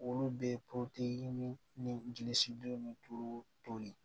Olu bɛ ni gilisidon ni tulu toli